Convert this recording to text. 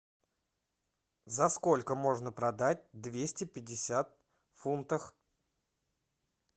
за сколько можно продать двести пятьдесят фунтов